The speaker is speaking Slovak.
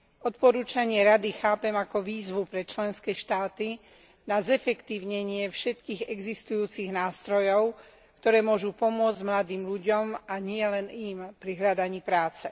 Odporúčanie Rady chápem ako výzvu pre členské štáty na zefektívnenie všetkých existujúcich nástrojov, ktoré môžu pomôcť mladým ľuďom, a nielen im pri hľadaní práce.